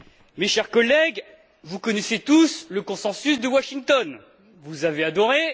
Mes chers collègues, vous connaissez tous le consensus de Washington, vous avez adoré!